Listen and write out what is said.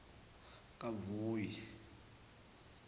kahhoyi